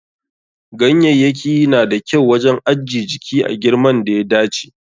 Ganyayyaki na da kyau wajen ajje jiki a girman da ya dace.